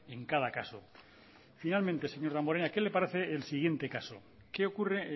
en cada caso finalmente señor damborenea qué le parece el siguiente caso que ocurre